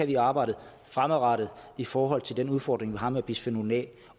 kan arbejde fremadrettet i forhold til den udfordring vi har med bisfenol a